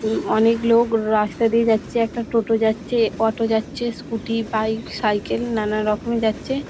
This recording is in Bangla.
এবং অনেক লোক রাস্তা দিয়ে যাচ্ছে একটা টোটো যাচ্ছে অটো যাচ্ছে স্কুটি বাইক সাইকেল নানারকম যাচ্ছে।